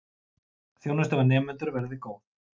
Þjónusta við nemendur verði góð.